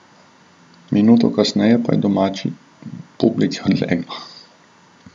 Minuto kasneje pa je domači publiki odleglo.